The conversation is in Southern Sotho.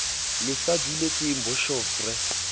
le sa duletseng boshof re